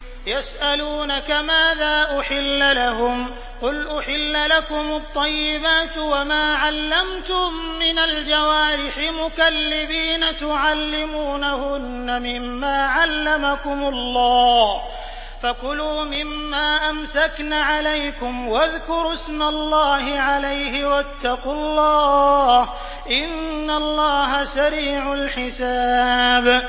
يَسْأَلُونَكَ مَاذَا أُحِلَّ لَهُمْ ۖ قُلْ أُحِلَّ لَكُمُ الطَّيِّبَاتُ ۙ وَمَا عَلَّمْتُم مِّنَ الْجَوَارِحِ مُكَلِّبِينَ تُعَلِّمُونَهُنَّ مِمَّا عَلَّمَكُمُ اللَّهُ ۖ فَكُلُوا مِمَّا أَمْسَكْنَ عَلَيْكُمْ وَاذْكُرُوا اسْمَ اللَّهِ عَلَيْهِ ۖ وَاتَّقُوا اللَّهَ ۚ إِنَّ اللَّهَ سَرِيعُ الْحِسَابِ